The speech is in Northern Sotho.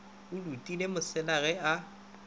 a dutile mosela ge a